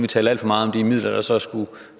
talte alt for meget om de midler der så skulle